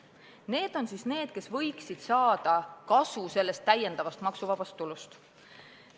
Need on need, kes võiksid saada kasu täiendavast maksuvabast tulust.